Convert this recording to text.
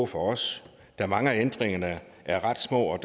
for os da mange af ændringerne er ret små og